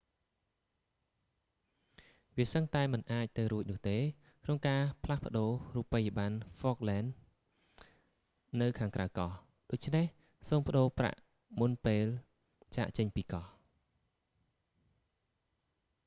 វាសឹងតែមិនអាចទៅរួចនោះទេ ក្នុងការផ្លាស់ប្តូររូបិយប័ណ្ណហ្វកឡែនស៍នៅខាងក្រៅកោះ ដូច្នេះសូមប្តូរប្រាក់មុនពេលចាកចេញពីកោះ